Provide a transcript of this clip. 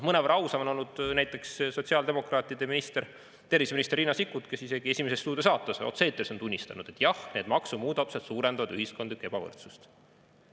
Mõnevõrra ausam on olnud näiteks sotsiaaldemokraatide minister, terviseminister Riina Sikkut, kes isegi "Esimese stuudio" saates otse-eetris on tunnistanud, et jah, need maksumuudatused suurendavad ühiskondlikku ebavõrdsust.